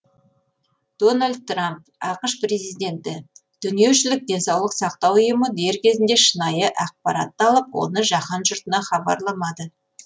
дональд трамп ақш президенті дүниежүзілік денсаулық сақтау ұйымы дер кезінде шынайы ақпаратты алып оны жаһан жұртына хабарламады